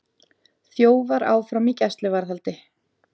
Þjófar áfram í gæsluvarðhaldi